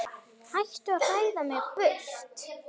Hættu að hræða mig burt.